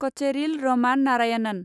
Kocheril Raman Narayanan